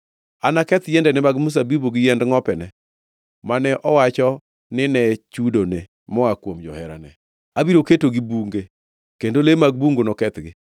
Anaketh yiendene mag mzabibu gi yiend ngʼopene mane owacho ni ne chudone moa kuom joherane. Abiro ketogi bunge, kendo le mag bungu nokethgi.”